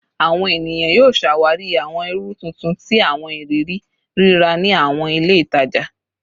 Awọn eniyan yoo ṣawari awọn iru tuntun ti awọn iriri rira ni awọn ile itaja